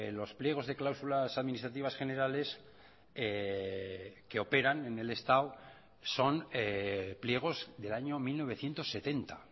los pliegos de cláusulas administrativas generales que operan en el estado son pliegos del año mil novecientos setenta